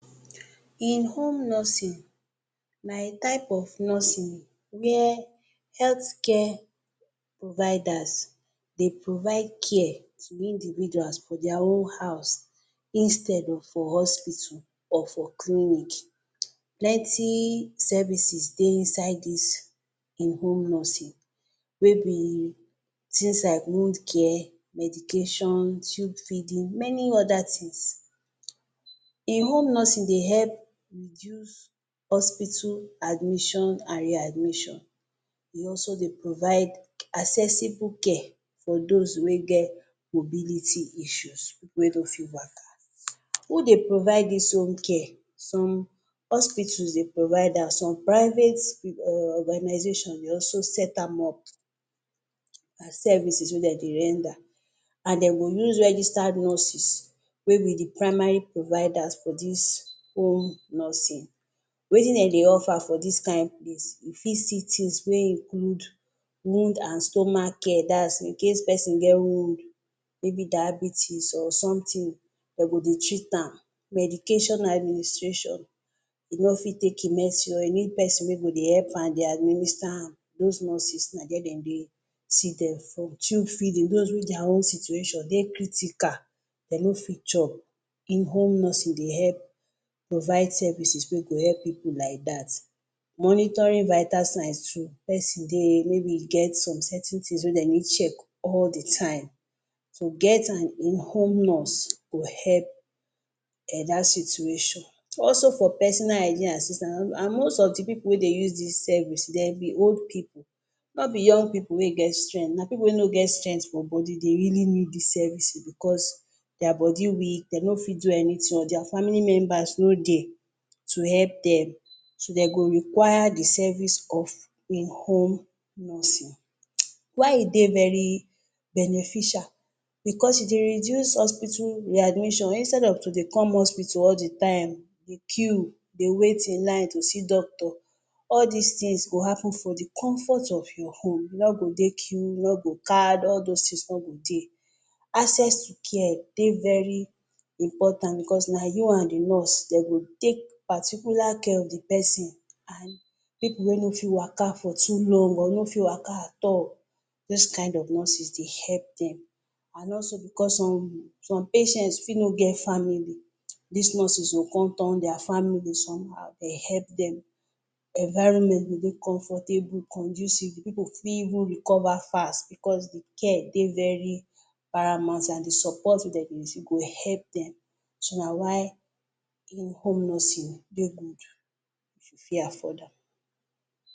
In home nursing na di type of nursing wia health care providers dey provide care to individuals for dia own house instead of for hospital or for clinic. Plenty services dey inside dis inhome nursing wey be tins like wound care, medication choose feeding many oda tins. In home nursing dey help reduce hospital admissions and re-admission, e also dey provide accessible care for dos wey get mobility issues, pipu wey no fit waka. Who dey provide dis home care? Some hospitals dey provide am, some private organisation dey also set am up as services wey dem dey render and dem go use registered nurses maybe di primary providers for dis home nursing. Wetin dem dey offer for dis kain place? You fit see tins wey include wound and stomach care dats incase pesin get wound maybe diabetes or sometin dem go dey treatment am. Medication administration, you no fit take your medicine well, you need pesin wey go sey help am dey administer am dos nurses na dia dem dey. For chew feeding, dos who dia own situations dey critical dem no fit chop inhome nursing dey help provide services wey go help pipu like dat. Monitoring vital signs too pesin dey, maybe e get some certain tins wey dem need check all di time so get an inhome nurse go help in dat situation. Also for personal hygiene assistance, and most of di pipu wey dey use dis service dem be old pipu nobi young pipu wey get strength na pipu wey no get strength for body dey really need dis services bicos dia body weak dem no fit do anytin or dia family members to help dem, so dem go require di service of inhome nursing. Why e dey very beneficial? Bicos e dey reduce hospital readmission, instead of to dey come hospital all di time, dey queue dey wait in line to see doctor, all dis tins go happun for di comfort of your home, you no go dey queue, you no go card, all dos tins no go dey. Access to care dey very important bicos na you and di nurse dem go take particular care of di pesin pipu wey no fit waka for too long, or no fit waka at all dis kain of nurses dey help dem and also bicos some patients fit no get family dis nurse go come turn dia family somehow dey help dem environment go dey comfortable, conducive pipu fit even recover fast bicos di care dey very paramount and di support dey dey receive go help dem na why inhome nursing dey good if you fit afford am.